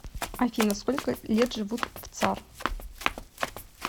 афина сколько лет живут в цар